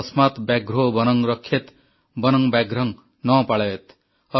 ତସ୍ମାତ୍ ବ୍ୟାଘ୍ରୋ ବନଂ ରକ୍ଷେତ୍ ବନଂ ବ୍ୟାଘ୍ରଂ ନ ପାଳୟେତ୍